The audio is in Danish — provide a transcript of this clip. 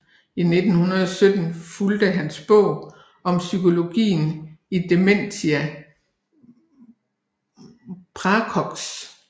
I 1907 fulgte hans bog Om psykologien i Dementia praecox